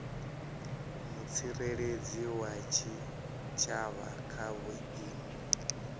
mutsireledzi wa tshitshavha kha vhuimo